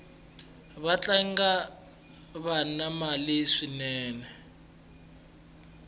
vatlangi vana mali swinene